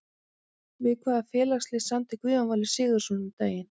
Við hvaða félagslið samdi Guðjón Valur Sigurðsson um daginn?